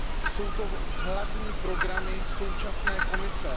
Jsou to hlavní programy současné Komise.